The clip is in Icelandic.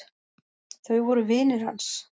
Þau voru vinir hans.